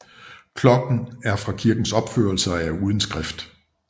Klokken er fra kirkens opførelse og er uden skrift